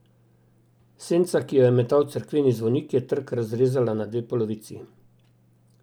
Senca, ki jo je metal cerkveni zvonik, je trg razrezala na dve polovici.